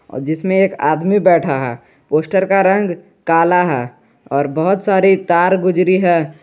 जिसमें एक आदमी बैठा है पोस्टर का रंग काला है और बहुत सारे तार गुजरी है।